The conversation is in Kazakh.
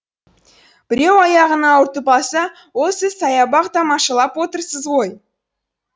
біреу аяғын ауыртып алса ол сіз саябақ тамашалап отырсыз ғой